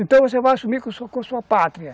Então você vai assumir com sua com sua pátria.